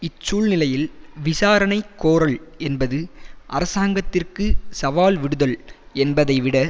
இச்சூழ்நிலையில் விசாரணை கோரல் என்பது அரசாங்கத்திற்கு சவால் விடுதல் என்பதைவிட